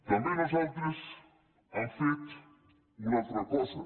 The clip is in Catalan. també nosaltres hem fet una altra cosa